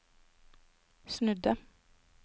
snudde